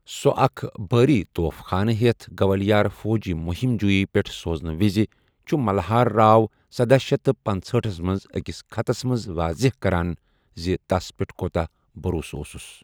سو اکھ بھٲری توف خانہٕ ہیتھ گوالِیار فوجی مُہم جوُیی پیٹھ سوزنہٕ وِزِ چھُ ملہار راو سدہَ شیتھ تہٕ پنژہأٹھس منز اکِس ختس منز واضح کران زِ تس پیٹھ کوتاہ بھرسہٕ اوسُس۔